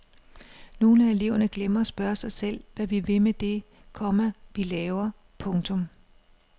Nogle af eleverne glemmer at spørge sig selv hvad vi vil med det, komma vi laver. punktum